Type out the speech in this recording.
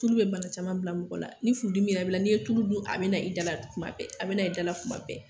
Tulu bɛ bana caman bila mɔgɔ la ni furudimi yɛrɛ b'i la n'i ye tulu dun a bɛna i dala tuma bɛɛ a bɛna i dala tuma bɛɛ